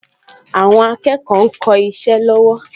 Àwọn akẹ́kọ̀ọ ń kọ isẹ́ lọ́wọ́